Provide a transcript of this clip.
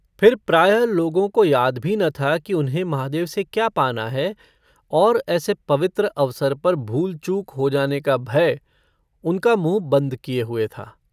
फिर प्रायः लोगों को याद भी न था कि उन्हें महादेव से क्या पाना है और ऐसे पवित्र अवसर पर भूल-चूक हो जाने का भय उनका मुँह बन्द किए हुए था।